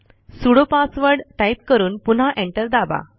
sudo password type करून पुन्हा enter दाबा